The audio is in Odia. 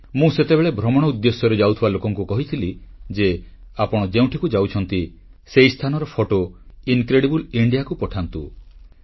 ମୁଁ ସେତେବେଳେ ଭ୍ରମଣ ଉଦ୍ଦେଶ୍ୟରେ ଯାଉଥିବା ଲୋକଙ୍କୁ କହିଥିଲି ଯେ ଆପଣ ଯେଉଁଠିକୁ ଯାଉଛନ୍ତି ସେହି ସ୍ଥାନର ଫଟୋ ଅତୁଲ୍ୟ ଭାରତ ବା ଇନକ୍ରେଡିବଲ୍ ଇଣ୍ଡିଆ କୁ ପଠାନ୍ତୁ